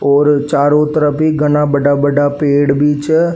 और चारो तरफ ई घाना बड़ा बड़ा पेड़ भी छे।